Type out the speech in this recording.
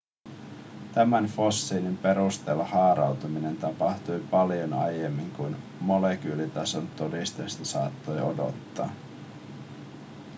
tämän fossiilin perusteella haarautuminen tapahtui paljon aiemmin kuin molekyylitason todisteista saattoi odottaa